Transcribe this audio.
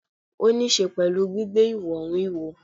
Ó ni íse pẹ̀lú gbígbé ìwọ̀n wúwo.